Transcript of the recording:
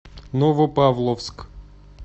новопавловск